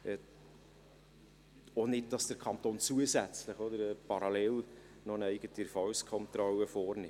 Klar ist auch, dass der Kanton nicht zusätzlich, parallel, noch eine eigene Erfolgskontrolle vornimmt.